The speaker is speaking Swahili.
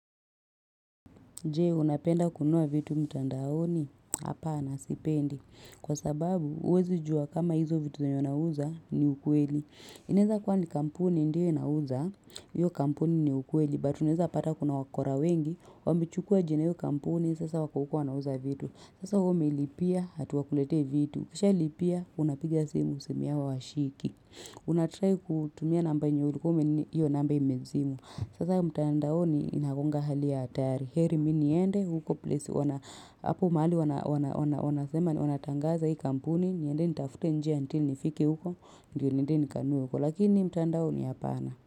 Jee unapenda kununua vitu mtandaoni hapaana sipendi Kwa sababu uwezi jua kama hizo vitu zenye unauza ni ukweli Ineza kuwa ni kampuni ndiyo inauza, yyo kampuni ni ukweli But uneza pata kuna wakora wengi, wamechukua jina ya hiyo kampuni sasa wako huko wanauza vitu Sasa humiilipia hati wakulete vitu, kisha ilipia unapigia simu simuyao hawashiki Unatrai kutumia namba yenye ulikume nyo namba imezima Sasa mtaandaoni inakuanga hali ya atari heri miniyende huko place wana apo mali wanasema ni wanatangaza hii kampuni ni yende nitafute njia until nifike huko ndio niende nikanue huko lakini mtaandaoni yapana.